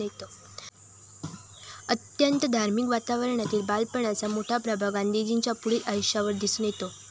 अत्यंत धार्मिक वातावरणातील बालपणाचा मोठा प्रभाव गांधीजींच्या पुढील आयुष्यावर दिसून येतो.